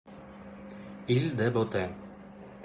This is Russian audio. иль де ботэ